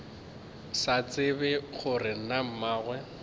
sa tsebe gore na mmagwe